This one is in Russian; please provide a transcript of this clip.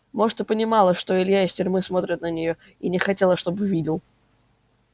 может и понимала что илья из тюрьмы смотрит на неё и не хотела чтобы видел